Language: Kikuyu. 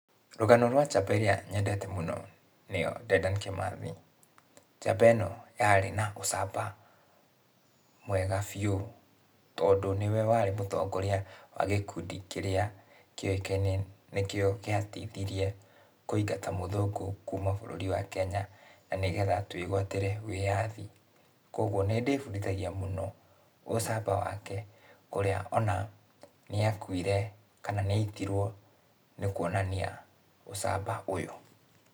Rũgano rwa njamba iria nyendete mũno, nĩyo Dedan Kimathi. Njamba ĩno yarĩ na ũcamba, mwega biũ, tondũ nĩwe warĩ mũtongoria wa gĩkundi kĩrĩa kĩoĩkaine nĩkĩo gĩateithirie kũingata mũthũngũ kuma bũrũri wa Kenya, na nĩgetha twĩgũatĩre wĩyathi. Kuoguo nĩndĩbundithagia mũco ũcamba wake, kũrĩa ona nĩakuire, kana nĩaitirwo, nĩkuonania ũcamba ũyũ.